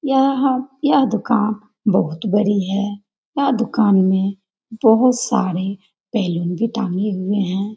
यहां यह दुकान बहुत बड़ी है यह दुकान में बहुत सारे बैलून भी टांगे हुए हैं।